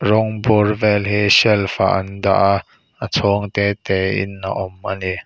rawng bur vel hi shelf ah an dah a a chhawng te tein a awm a ni.